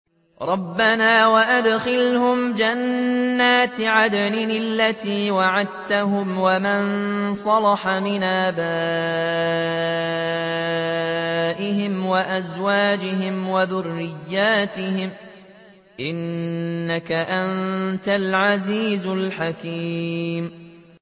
رَبَّنَا وَأَدْخِلْهُمْ جَنَّاتِ عَدْنٍ الَّتِي وَعَدتَّهُمْ وَمَن صَلَحَ مِنْ آبَائِهِمْ وَأَزْوَاجِهِمْ وَذُرِّيَّاتِهِمْ ۚ إِنَّكَ أَنتَ الْعَزِيزُ الْحَكِيمُ